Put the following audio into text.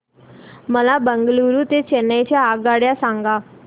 मला बंगळुरू ते चेन्नई च्या आगगाड्या सांगा